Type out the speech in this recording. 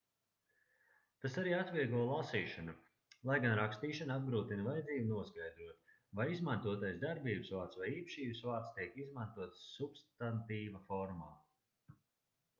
tas arī atvieglo lasīšanu lai gan rakstīšanu apgrūtina vajadzība noskaidrot vai izmantotais darbības vārds vai īpašības vārds tiek izmantots substantīva formā